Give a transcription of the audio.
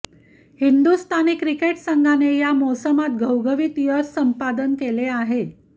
Hindustani cricket संघाने या मोसमात घवघवीत यश संपादन केले आहे